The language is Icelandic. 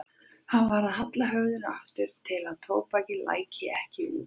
Hann varð að halla höfðinu aftur til að tóbakið læki ekki út.